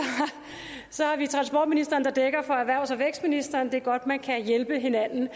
transportministeren der dækker for erhvervs og vækstministeren det er godt at man kan hjælpe hinanden